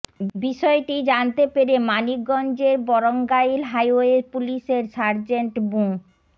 বিষয়টি জানতে পেরে মানিকগঞ্জের বরঙ্গাইল হাইওয়ে পুলিশের সার্জেন্ট মো